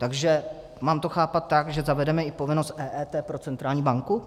Takže mám to chápat tak, že zavedeme i povinnost EET pro centrální banku?